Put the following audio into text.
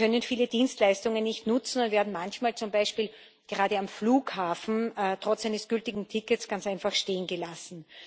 Sie können viele Dienstleistungen nicht nutzen und werden manchmal zum Beispiel gerade am Flughafen trotz eines gültigen Tickets ganz einfach stehengelassen.